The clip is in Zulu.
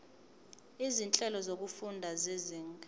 izinhlelo zokufunda zezinga